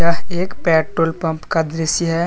यह एक petrol pump का दृश्य है।